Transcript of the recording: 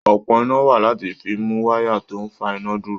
Òpó iná wà láti fi mú wáyà tó ń fa iná dúró.